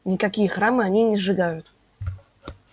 никакие храмы они не сжигают